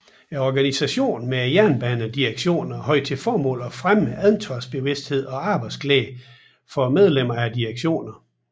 Organisatinen med jernbanedirektioner havde til formål at fremme ansvarsbevidstheden og arbejdsglæden for medlemmer af direktionerne